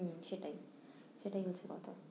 হম সেটাই সেটাই হচ্ছে কথা